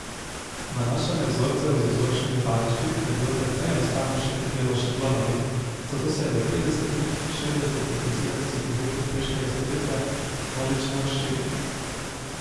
Nanašanje vzorcev z vzorčnimi valjčki je bilo precej enostavnejše kot delo s šablonami, zato se je v petdesetih, šestdesetih in sedemdesetih letih prejšnjega stoletja množično razširilo.